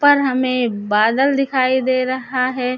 पर हमें बादल दिखाई दे रहा है।